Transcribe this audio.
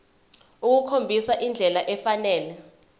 ukukhombisa indlela efanele